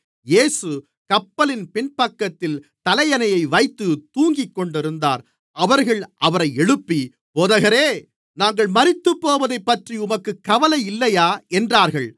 இயேசு கப்பலின் பின்பக்கத்தில் தலையணையை வைத்துத் தூங்கிக்கொண்டிருந்தார் அவர்கள் அவரை எழுப்பி போதகரே நாங்கள் மரித்துப்போவதைப்பற்றி உமக்குக் கவலை இல்லையா என்றார்கள்